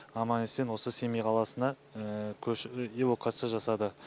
аман есен осы семей қаласына эвакуация жасады